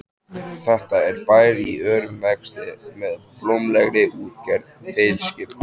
Þetta er bær í örum vexti með blómlegri útgerð þilskipa.